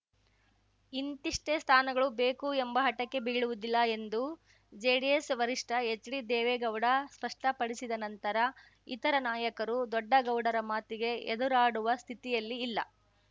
ಇಂತಿಷ್ಟೇ ಸ್ಥಾನಗಳು ಬೇಕು ಎಂಬ ಹಟಕ್ಕೆ ಬೀಳುವುದಿಲ್ಲ ಎಂದು ಜೆಡಿಎಸ್ ವರಿಷ್ಠ ಹೆಚ್ಡಿ ದೇವೇಗೌಡ ಸ್ಪಷ್ಟಪಡಿಸಿದ ನಂತರ ಇತರ ನಾಯಕರು ದೊಡ್ಡಗೌಡರ ಮಾತಿಗೆ ಎದುರಾಡುವ ಸ್ಥಿತಿಯಲ್ಲಿ ಇಲ್ಲ